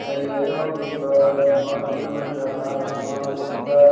एईजा होअ ने बड़ा मस्त नजर आ रहलो हेय पूरा।